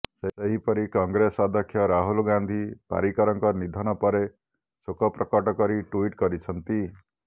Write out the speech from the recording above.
ସେହିପରି କଂଗ୍ରେସ ଅଧ୍ୟକ୍ଷ ରାହୁଲ ଗାନ୍ଧୀ ପାରିକରଙ୍କ ନିଧନ ପରେ ଶୋକ ପ୍ରକଟ କରି ଟ୍ବିଟ୍ କରିଛନ୍ତି